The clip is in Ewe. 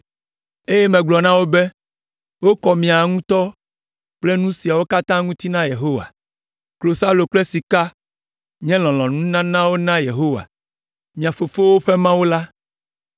Eye megblɔ na wo be, “Wokɔ miawo ŋutɔ kple nu siawo katã ŋuti na Yehowa. Klosalo kple sika nye lɔlɔ̃nununanawo na Yehowa, mia fofowo ƒe Mawu la.